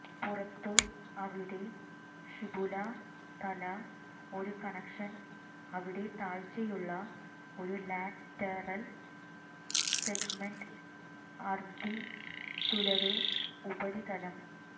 പുറത്തു അവിടെ ഫിബുല തല ഒരു കണക്ഷൻ അവിടെ താഴ്ചയുള്ള ഒരു ലാറ്ററൽ സെഗ്മെന്റ് അര്തിചുലര് ഉപരിതലം